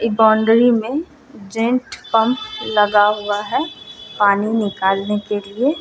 इ बाउंड्री में जैंट पम्प लगा हुआ है पानी निकालने के लिए ।